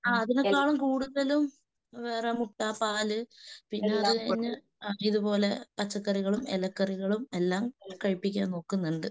അതിനേക്കാളും കൂടുതലും വേറെ മുട്ട പാല് പിന്നെ അതുകഴിഞ്ഞ് പച്ചക്കറികളും ഇലക്കറികളും എല്ലാം കഴിപ്പിക്കാൻ നോക്കുന്നുണ്ട്.